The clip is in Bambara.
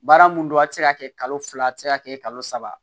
Baara mun don a tɛ se ka kɛ kalo fila a tɛ se ka kɛ kalo saba